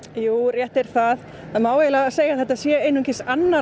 jú rétt er það það má eiginlega segja að þetta sé einungis annar